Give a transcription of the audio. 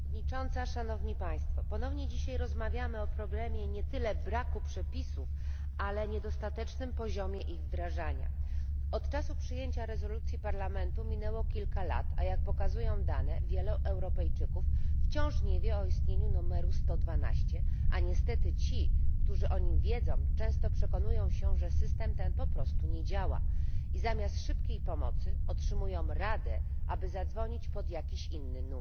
Szanowna Pani Przewodnicząca! Ponownie dzisiaj rozmawiamy o problemie nie tyle braku przepisów, ale niedostatecznym poziomie ich wdrożenia. Od czasu przyjęcia rezolucji Parlamentu minęło kilka lat, a, jak pokazują dane, wielu Europejczyków wciąż nie wie o istnieniu numeru 112, zaś ci, którzy o nim wiedzą, często przekonują się, że system ten po prostu nie działa i zamiast szybkiej pomocy otrzymują radę, aby zadzwonić pod inny numer.